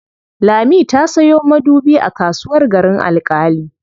Lami ta sayo sabon madubi a kasuwar Garin Alƙali.